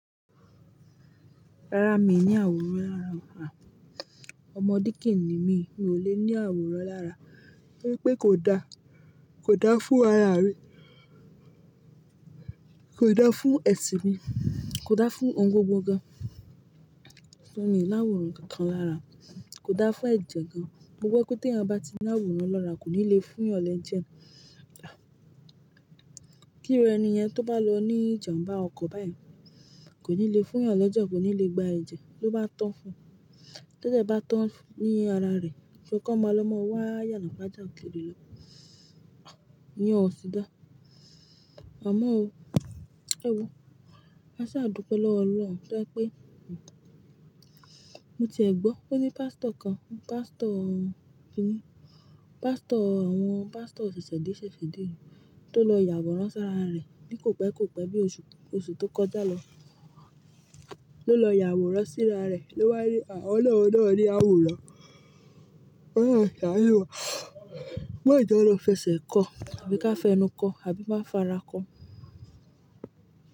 Rárá mi ò ní àwòrán lára, à, ọmọ díkìnní mi, mi ò lè ní àwòrán lára. Ní pé kò da, kò da fún ara rí, kò da fún ẹ̀sìn mi, kò da fún ohun gbogbo gan. Ṣó ni ìláwòrán kan lára, kò da fún ẹ̀jẹ̀ gan. Mo gbọ́ pé tí ẹ́ bá ti ní àwòrán lọ́ra kò ní le fún ìyànlẹ̀ jẹ. Kí irú ẹni yẹn tó bá lọ ní ìjàmbá ọkọ̀ báyìí kò ní le fún ìyànlẹ̀ jẹ, kò ní le gba ẹ̀jẹ̀ tó bá tán fún un. Tẹ́tẹ́ bá tán ní ara rẹ̀, ṣé ọkọ̀ máa lọ máa wá yànàpà já òkèèrè lọ? Iye ọ̀sì dá. Àmá ọ, ẹ wo, a sá dùpẹ́ lọ́wọ́ Ọlọ́run pé mo ti ẹ gbọ́ pé ní pástọ̀ kan, pástọ̀ kíni, pástọ̀ àwọn pástọ̀ òṣìṣẹ́ dí ṣe fìdí tó lọ yàwòrán sí ara rẹ̀ ní kò pẹ́, kò pẹ́ bí oṣù tó kọjá lọ. Ló lọ yàwòrán sí ara rẹ̀ ló wá rí àwọn ọlọ́run náà rí àwòrán. Ọlọ́run ṣààyè wà. Má ìjọ̀ lọ fẹsẹ̀ kọ́ tàbí ká fẹnu kọ́ àbí má fará kọ́